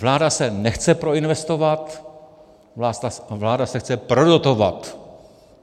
Vláda se nechce proinvestovat, vláda se chce prodotovat.